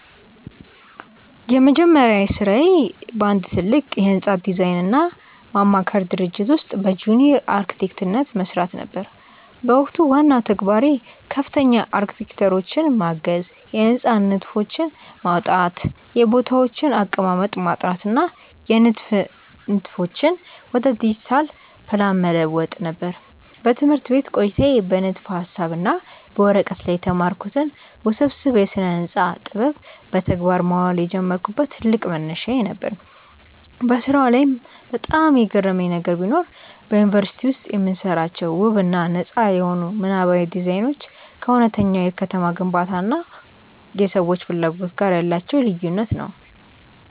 የመጀመሪያ ሥራዬ በአንድ ትልቅ የሕንፃ ዲዛይንና ማማከር ድርጅት ውስጥ በጁኒየር አርክቴክትነት መሥራት ነበር። በወቅቱ ዋናው ተግባሬ ከፍተኛ አርክቴክቶችን ማገዝ፣ የሕንፃዎችን ንድፍ ማውጣት፣ የቦታዎችን አቀማመጥ ማጥናት እና የንድፍ ንድፎችን ወደ ዲጂታል ፕላን መለወጥ ነበር። በትምህርት ቤት ቆይታዬ በንድፈ-ሐሳብ እና በወረቀት ላይ የተማርኩትን ውስብስብ የስነ-ህንፃ ጥበብ በተግባር ማዋል የጀመርኩበት ትልቅ መነሻዬ ነበር። በሥራው ዓለም ላይ በጣም የገረመኝ ነገር ቢኖር፣ በዩኒቨርሲቲ ውስጥ የምንሰራቸው ውብ እና ነጻ የሆኑ ምናባዊ ዲዛይኖች ከእውነተኛው የከተማ ግንባታ እና የሰዎች ፍላጎት ጋር ያላቸው ልዩነት ነው።